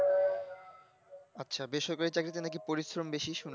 আচ্ছা বেসরকারি চাকরিতে পরিশ্রম বেশি নাকি শুন